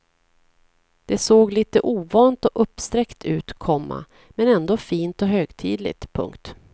Det såg lite ovant och uppsträckt ut, komma men ändå fint och högtidligt. punkt